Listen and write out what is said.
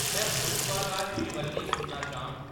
में पुष्पा दा श्रीवल्ली सुनना चाह्‌‌‌ङ